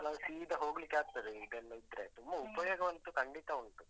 ನಾವು ಸೀದ ಹೋಗ್ಲಿಕ್ಕೆ ಆಗ್ತದೆ, ಇದೊಂದಿದ್ರೆ ತುಂಬ ಉಪಯೋಗವಂತೂ ಖಂಡಿತ ಉಂಟು.